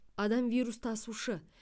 адам вирус тасушы